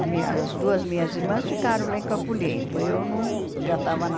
A minha as duas minhas irmãs ficaram lá em Campo Limpo, eu não já estava na